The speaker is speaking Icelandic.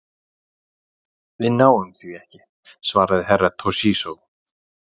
Við náum því ekki, svaraði Herra Toshizo.